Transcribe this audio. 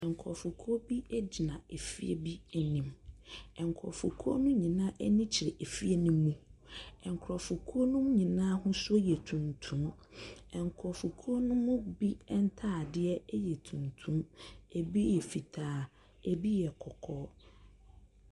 Nkorɔfokuo bi ɛgyina ɛfie bi anim, nkorɔfokuo no nyinaa ani kyerɛ ɛfie no mu. Nkorɔfokuo no nyinaa ahosuo yɛ tuntum. Nkorɔfokuo no mu bi ntaadeɛ ɛyɛ tuntum, ɛbi yɛ fitaa, ɛbi yɛ kɔkɔɔ.